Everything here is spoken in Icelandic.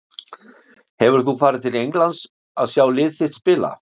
Hefur þú farið til Englands að sjá lið þitt spila?